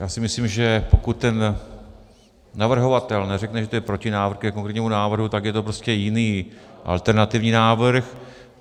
Já si myslím, že pokud ten navrhovatel neřekne, že to je protinávrh ke konkrétnímu návrhu, tak je to prostě jiný, alternativní návrh.